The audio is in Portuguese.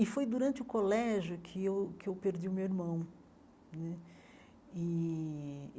E foi durante o colégio que eu que eu perdi o meu irmão né e.